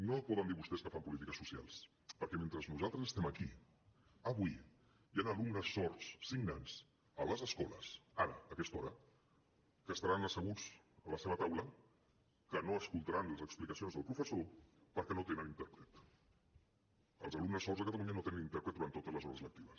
no poden dir vostès que fan polítiques socials perquè mentre nosaltres estem aquí avui hi han alumnes sords signants a les escoles ara a aquesta hora que estaran asseguts a la seva taula que no escoltaran les explicacions del professor perquè no tenen intèrpret els alumnes sords a catalunya no tenen intèrpret durant totes les hores lectives